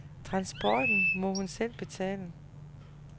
Transporten må hun selv betale.